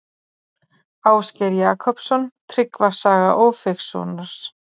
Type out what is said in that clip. Ásgeir Jakobsson: Tryggva saga Ófeigssonar.